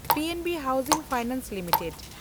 P N B housing finance limited